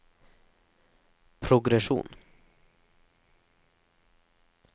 progresjon